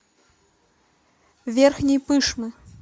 верхней пышмы